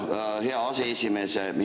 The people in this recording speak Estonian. Suur tänu, hea aseesimees!